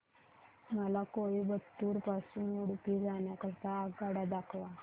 मला कोइंबतूर पासून उडुपी जाण्या करीता आगगाड्या दाखवा